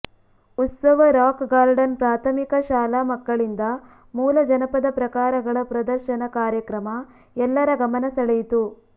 ಉತ್ಸವ Rock Garden ಪ್ರಾಥಮಿಕ ಶಾಲಾ ಮಕ್ಕಳಿಂದ ಮೂಲ ಜನಪದ ಪ್ರಕಾರಗಳ ಪದರ್ಶನ ಕಾರ್ಯಕ್ರಮ ಎಲ್ಲರ ಗಮನ ಸೆಳೆಯಿತು